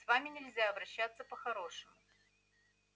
с вами нельзя обращаться по-хорошему